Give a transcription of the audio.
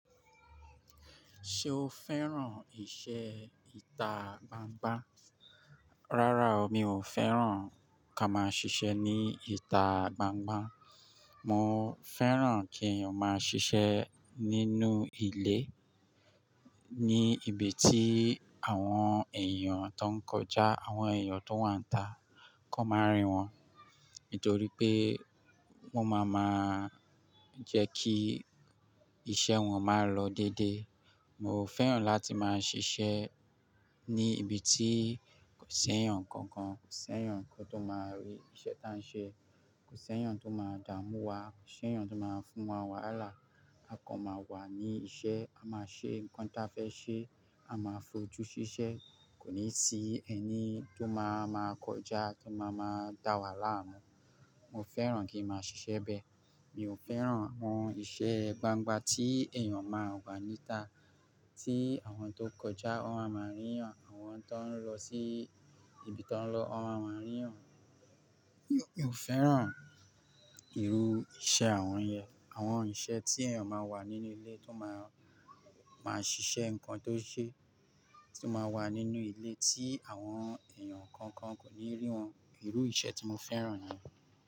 Ṣé o fẹ́ràn ìṣe ìta gbangba? Rárá o, mi ò fẹ́ràn ká máa ṣiṣẹ́ ní ìta gbangba. Mo fẹ́ràn kí èèyàn máa ṣiṣẹ́ nínú ilé, ní ibi tí àwọn èèyàn tó ń kọjá, àwọn èèyàn tó wà níta kọ máa rí wọn, nítorí pé wọ́n máa máa jẹ́ kí iṣẹ́ wọn máa lọ dédé. Mo fẹ́ràn láti máa ṣiṣẹ́ ní ibi tí kò sí ẹ̀yàn kankan, kò sí ẹ̀yàn kan tó máa rí iṣẹ́ tí à ń ṣe, kò sí ẹ̀yàn tó máa dà mú wa, kò sí ẹ̀yàn tó máa fún wa wàhálà. A kan máa wà ní iṣẹ́, a máa ṣe nǹkan tí a fẹ́ ṣe, a máa fojú ṣiṣẹ́, kò ní sí ẹni tó máa máa kọjá tó máa máa dà wá láàárún. Mo fẹ́ràn kí n máa ṣiṣẹ́ bẹ́ẹ̀. Mi ò fẹ́ràn àwọn ìṣe gbangba tí èèyàn máa wà níta tí àwọn tó kọjá wọ́n a máa rí wọn, àwọn tó ń lọ sí ibi tó ń lọ wọ́n a máa rí wọn. Mi ò fẹ́ràn irú iṣẹ́ àwọn yen, àwọn iṣẹ́ tí èèyàn máa wà nínú ilé tó máa, máa ṣiṣẹ́ nǹkan tó ṣe, tí ó máa wà nínú ilé tí àwọn èèyàn kankan kò ní rí wọn. Irú iṣẹ́ tí mo fẹ́ràn ni.